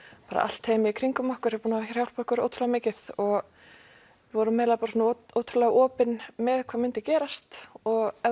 bara allt teymið í kringum okkur er búið að hjálpa okkur ótrúlega mikið vorum eiginlega bara ótrúlega opin með hvað myndi gerast og